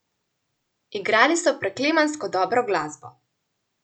Igrali so preklemansko dobro glasbo.